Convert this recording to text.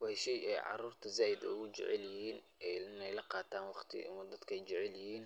Waa shey ay carurta zaaid ogu jecelyihin in la qaatan waqti dadka ayjecely8hin,